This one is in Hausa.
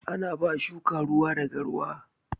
Ana ba shuka ruwa da garwa